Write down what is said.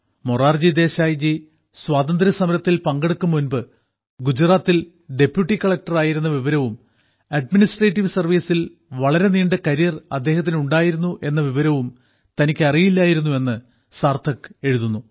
മൊറാർജി ദേശായിജി സ്വാതന്ത്ര്യസമരത്തിൽ പങ്കെടുക്കും മുൻപ് ഗുജറാത്തിൽ ഡെപ്യൂട്ടി കളക്ടറായിരുന്ന വിവരവും അഡ്മിനിസ്ട്രേറ്റീവ് സർവ്വീസിൽ വളരെ നീണ്ട കരിയർ അദ്ദേഹത്തിനുണ്ടായിരുന്ന വിവരവും തനിക്ക് അറിയില്ലായിരുന്നു എന്ന് സാർത്ഥക് എഴുതി